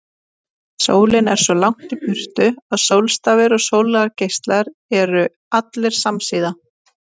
Sólin er svo langt í burtu að sólstafir og sólargeislar eru allir samsíða.